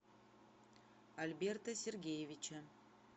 альберта сергеевича